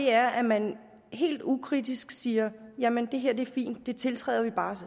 er at man helt ukritisk siger jamen det her er fint det tiltræder vi bare